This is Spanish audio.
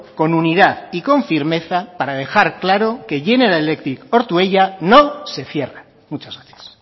con unidad y con firmeza para dejar claro que general electric ortuella no se cierra muchas gracias